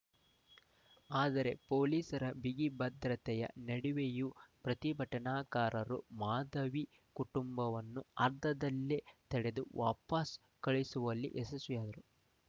ಆದರೆ ಪೊಲೀಸರ ಬಿಗಿ ಭದ್ರತೆಯ ನಡುವೆಯೂ ಪ್ರತಿಭಟನಾಕಾರರು ಮಾಧವಿ ಕುಟುಂಬವನ್ನು ಅರ್ಧದಲ್ಲೇ ತಡೆದು ವಾಪಸ್‌ ಕಳುಹಿಸುವಲ್ಲಿ ಯಶಸ್ವಿಯಾದರು